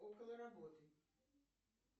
около работы